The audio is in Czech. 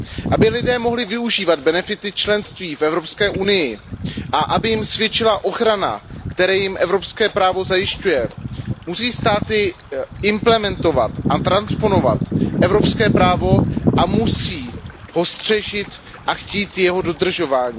Aby lidé mohli využívat benefity členství v Evropské unii a aby jim svědčila ochrana, kterou jim evropské právo zajišťuje, musí státy implementovat a transponovat evropské právo a musí ho střežit a chtít jeho dodržování.